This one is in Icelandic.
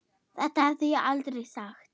Þetta hefði ég aldrei sagt.